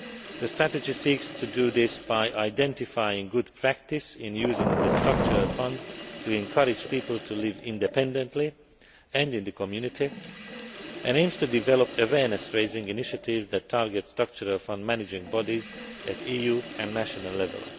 The strategy seeks to do this by identifying good practice in using the structural funds to encourage people to live independently and in the community and aims to develop awareness raising initiatives that target structural fund managing bodies at EU and national level.